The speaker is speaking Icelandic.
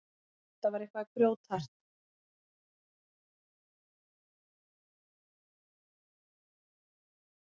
Þetta var eitthvað grjóthart.